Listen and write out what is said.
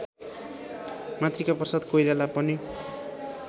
मातृकाप्रसाद कोइराला पनि